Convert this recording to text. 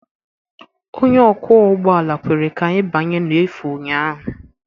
Onye ọkwọ ụgbọala kwere ka anyị banye n'efu ụnyaahụ.